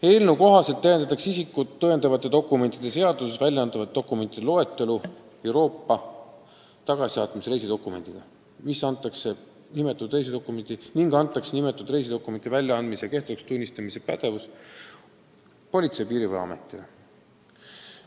Eelnõu kohaselt täiendatakse isikut tõendavate dokumentide seaduses väljaantavate dokumentide loetelu Euroopa tagasisaatmise reisidokumendiga ning antakse nimetatud reisidokumendi väljaandmise ja kehtetuks tunnistamise pädevus Politsei- ja Piirivalveametile.